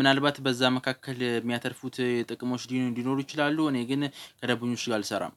ምናልባት በዛ መካከል ሚያተርፉት ጥቅሞች ሊኖሩ ይችላሉ። እኔ ግን ከደቡኞች ጋር አልሰራም